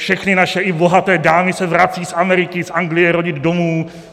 Všechny naše - i bohaté - dámy se vrací z Ameriky, z Anglie rodit domů.